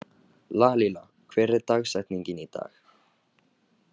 Lalíla, hver er dagsetningin í dag?